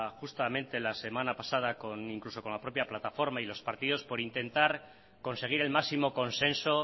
justamente la semana pasada incluso con la propia plataforma y los partidos por intentar conseguir el máximo consenso